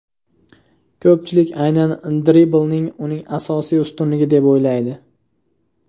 Ko‘pchilik aynan dribling uning asosiy ustunligi deb o‘ylaydi.